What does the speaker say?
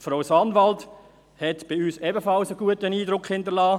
Frau Sanwald hinterliess bei uns ebenfalls einen guten Eindruck, und